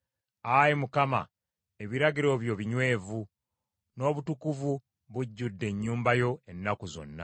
Ayi Mukama ebiragiro byo binywevu, n’obutukuvu bujjudde ennyumba yo, ennaku zonna.